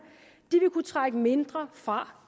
vil kunne trække mindre fra